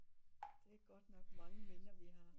Det er godt nok mange minder vi har